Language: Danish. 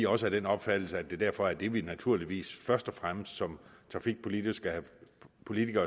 også af den opfattelse at det derfor er det vi naturligvis først og fremmest som trafikpolitikere